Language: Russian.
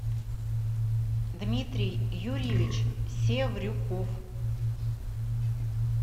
дмитрий юрьевич севрюков